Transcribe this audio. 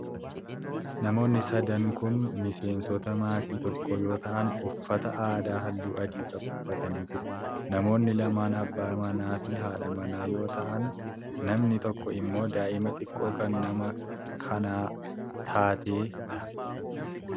Namoonni sadan kun miseensota maatii tokkoo yoo ta'an, uffata aadaa haalluu adii qabu uffatanii jiru. Namoonni lama abbaa manaa fi haadha manaa yoo ta'an, namni tokko immoo daa'ima xiqqoo kan nama kanaa taatee dha.